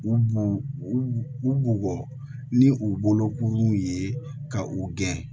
U b'u u bugɔ ni u bolo kurun ye ka u gɛn